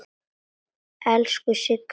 Elsku Sigga systir.